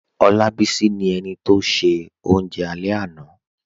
Olábísí ni ènì tó ṣẹ̀ ọ̀unje alẹ̀ lánà